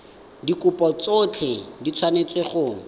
dikopo tsotlhe di tshwanetse go